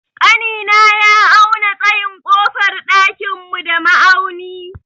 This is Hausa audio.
Ƙanina ya auna tsayin ƙofar ɗakin mu da ma'auni.